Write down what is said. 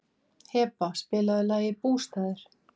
Heba, spilaðu lagið „Bústaðir“.